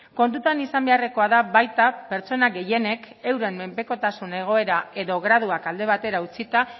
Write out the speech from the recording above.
kontutan izan beharrekoa da baita pertsona gehienek euren menpekotasun egoera edo graduak alde batera utzita